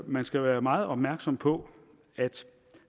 man skal være meget opmærksom på at